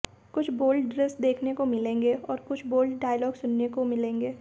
कुछ बोल्ड दृश्य देखने को मिलेंगे और कुछ बोल्ड डायलॉग सुनने को मिलेंगे